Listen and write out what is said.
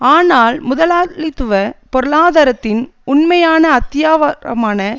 ஆனால் முதலாளித்துவ பொருளாதாரத்தின் உண்மையான அத்திவாரமான